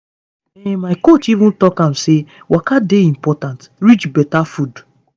ehn my coach even talk am say waka dey important reach better food.